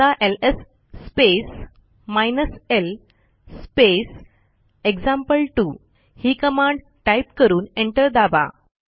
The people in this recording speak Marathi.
आता LS space hyphen L space example two ही कमांड टाईप करून एंटर दाबा